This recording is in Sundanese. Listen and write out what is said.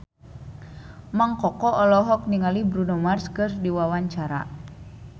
Mang Koko olohok ningali Bruno Mars keur diwawancara